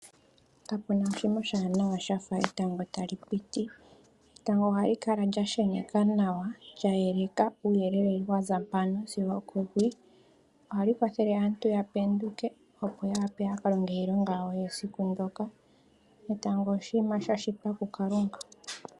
Kapuna oshinima oshiwanana shafa etago tali piti. Etango ohali kala lyasheneka nawa, lya yeleka uuyelele waza mpano sigo oko hwii. Ohali kwathele aantu yapenduke, opo yawape yakalonge iilonga yawo yesiku ndoka. Etango oshinima shashitwa ku Kalunga.